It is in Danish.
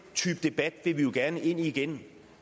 type debat vil vi gerne ind i igen